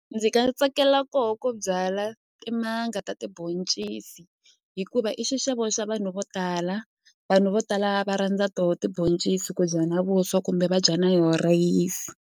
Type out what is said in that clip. Ndzi nga tsakela koho ku byala timanga ta tiboncisi hikuva i xixevo xa vanhu vo tala vanhu vo tala va rhandza to tiboncisi ku dya na vuswa kumbe va dya na yo rhayisi.